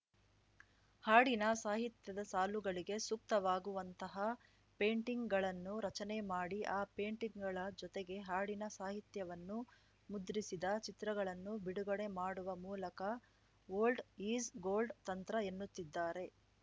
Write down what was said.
ಹಾಡಿನ ಸಾಹಿತ್ಯದ ಸಾಲುಗಳಿಗೆ ಸೂಕ್ತವಾಗುವಂತಹ ಪೇಯಿಂಟಿಂಗ್‌ಗಳನ್ನು ರಚನೆ ಮಾಡಿ ಆ ಪೇಯಿಂಟಿಂಗ್‌ಗಳ ಜೊತೆಗೆ ಹಾಡಿನ ಸಾಹಿತ್ಯವನ್ನು ಮುದ್ರಿಸಿದ ಚಿತ್ರಗಳನ್ನು ಬಿಡುಗಡೆ ಮಾಡುವ ಮೂಲಕ ಓಲ್ಡ್‌ ಈಸ್‌ ಗೋಲ್ಡ್‌ ತಂತ್ರ ಎನ್ನುತ್ತಿದ್ದಾರೆ